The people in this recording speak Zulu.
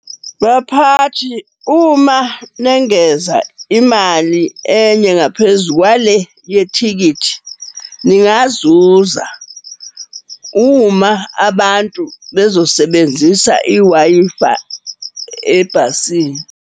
Baphathi, uma nengeza imali enye ngaphezu kwale yethikithi ningazuza uma abantu bezosebenzisa i-Wi-Fi ebhasini.